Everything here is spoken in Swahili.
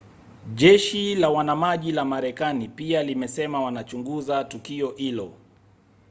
jeshi la wanamaji la marekani pia limesema wanachunguza tukio hilo